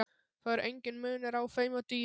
Það er enginn munur á þeim og dýrum.